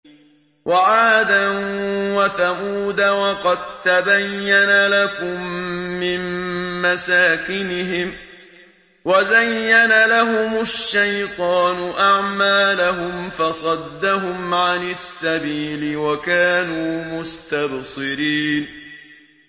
وَعَادًا وَثَمُودَ وَقَد تَّبَيَّنَ لَكُم مِّن مَّسَاكِنِهِمْ ۖ وَزَيَّنَ لَهُمُ الشَّيْطَانُ أَعْمَالَهُمْ فَصَدَّهُمْ عَنِ السَّبِيلِ وَكَانُوا مُسْتَبْصِرِينَ